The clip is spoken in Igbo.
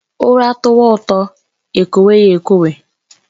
Ura tọwa ụtọ ekwowe ya ekwo